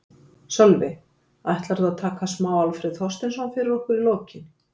Sölvi: Ætlarðu að taka smá Alfreð Þorsteinsson fyrir okkur í lokin?